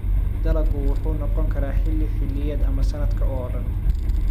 Dalaggu wuxuu noqon karaa xilli xilliyeed ama sanadka oo dhan.